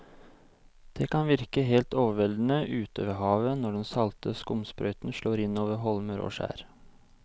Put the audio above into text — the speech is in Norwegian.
Det kan virke helt overveldende ute ved havet når den salte skumsprøyten slår innover holmer og skjær.